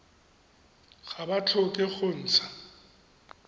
ga ba tlhoke go ntsha